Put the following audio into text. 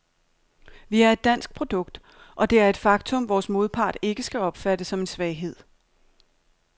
Vi er et dansk produkt, og det er et faktum, vores modpart ikke skal opfatte som en svaghed.